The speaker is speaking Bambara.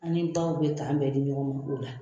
An ni baw be kan bɛ di ɲɔgɔn ma o la.